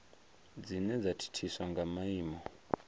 dzine dza thithiswa nga maimo